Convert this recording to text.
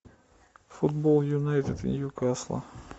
футбол юнайтед и ньюкасла